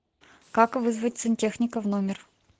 как вызвать сантехника в номер